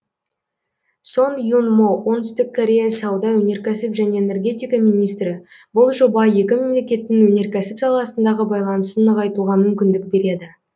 сон юн мо оңтүстік корея сауда өнеркәсіп және энергетика министрі бұл жоба екі мемлекеттің өнеркәсіп саласындағы байланысын нығайтуға мүмкіндік береді